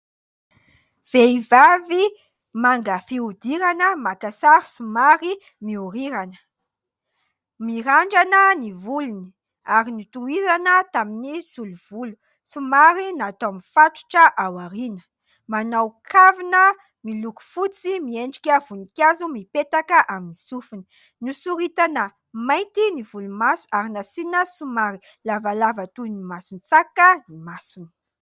Vehivavy manga fihodirana maka sary somary mihorirana. Mirandrana ny volony ary notohizana tamin'ny solo volo, somary natao mifatotra ao aoriana. Manao kavina miloko fotsy miendrika voninkazo mipetaka amin'ny sofiny. Nosoritana mainty ny volomaso ary nasiana somary lavalava toy ny mason-tsaka ny masony.